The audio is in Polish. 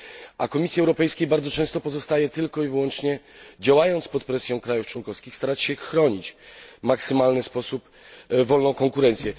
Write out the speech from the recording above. a Komisji Europejskiej bardzo często pozostaje tylko i wyłącznie działając pod presją krajów członkowskich starać się chronić w maksymalny sposób wolną konkurencję.